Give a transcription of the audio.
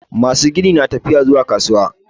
Masu gini na tafiya kasuwa